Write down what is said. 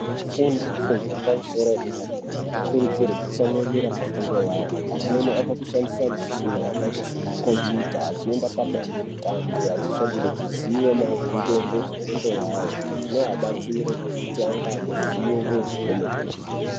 Vafundi vefundo ye pamusoro yedera-dera anokirudzirwa kutsamwirira pafundo yawo. Amweni ava kushandisa michina yakaita semakhombiyuta, vachienda padandemutande, vachitsvagurudza ziwo maringe ngezvefundo yawo. Zvinoabatsira kuti ange ane ziwo kwemene.